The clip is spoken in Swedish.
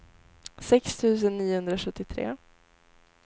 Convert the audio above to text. sex tusen niohundrasjuttiotre